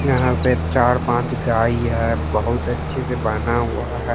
यहां पे चार पांच गाई है बहुत अच्छे से बान्हा हुआ है।